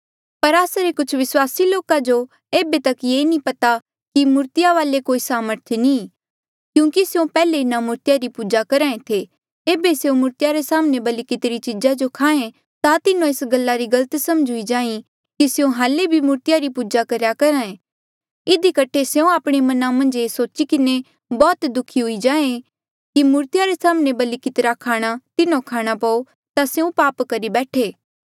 पर आस्सा रे कुछ विस्वासी लोका जो ऐबे तक ये नी पता कि मूर्तिया वाले कोई सामर्थ नी क्यूंकि स्यों पैहले इन्हा मूर्तिया री पूजा करहे थे ऐबे स्यों मूर्तिया रे साम्हणें बलि कितिरी चीजा जो खाहें ता तिन्हों एस गल्ला री गलत समझ हुई जाहीं कि स्यों हाल्ले भी मूर्तिया री पूजा करेया करहा ऐ इधी कठे स्यों आपणे मना मन्झ ये सोची किन्हें बौह्त दुखी हुई जाहें कि मूर्तिया रे साम्हणें बलि कितिरा खाणा तिन्हो खाणा पो ता स्यों पाप करी बैठे